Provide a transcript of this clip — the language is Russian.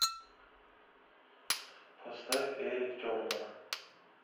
поставь эрик тернер